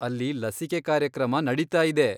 ಅಲ್ಲಿ ಲಸಿಕೆ ಕಾರ್ಯಕ್ರಮ ನಡೀತಾ ಇದೆ.